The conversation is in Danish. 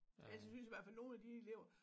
Altså jeg synes i hvert fald nogle af de elever